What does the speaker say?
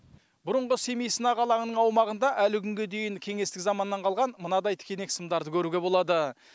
бұрынғы семей сынақ алаңының аумағында әлі күнге дейін кеңестік заманнан қалған мынадай тікенек сымдарды көруге болады